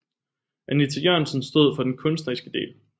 Anita Jørgensen stod for den kunstneriske del